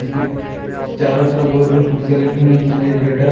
इसके चारों तरफ गोल गोल कुर्सियां लगी हुई हैं जिसमें एक वेटर --